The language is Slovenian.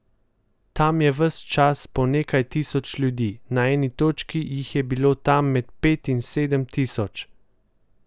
Tam je ves čas po nekaj tisoč ljudi, na eni točki jih je bilo tam med pet in sedem tisoč.